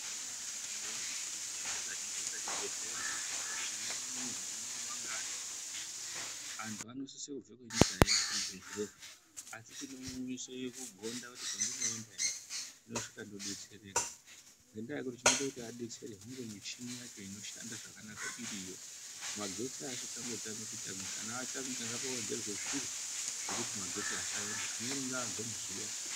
Akunazve chibhedhlera chinozoite chibhedhlera chine murwe inouyiwa neantu akawanda antu anosise kubve kwenyika euye kuzvibhedhlera asi chinomuiseyo kugonda kuti kwandiri kuendayo ndinosvika ndodetsereka ngendaa yekuti chinoita kuti adetsereke hunge muchini yacho inoshanda zvakanaka iriyo magetsi asangotamika tamika kana atamika ngapawedzerwe zviro zvekuti asaenda amweni ngaabve muzuwa.